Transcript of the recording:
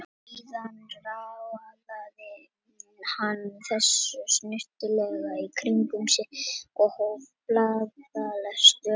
Síðan raðaði hann þessu snyrtilega í kring um sig og hóf blaðalestur dagsins.